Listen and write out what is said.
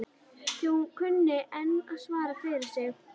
Því hún kunni enn að svara fyrir sig hún